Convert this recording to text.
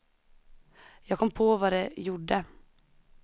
Jag kom på vad det gjorde.